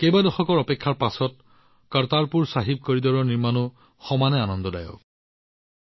কেইবা দশকৰ অপেক্ষাৰ পিছত কৰতাৰপুৰ চাহিব কৰিডৰৰ বিকাশ প্ৰত্যক্ষ কৰাটোও সমানে আনন্দদায়ক হৈছে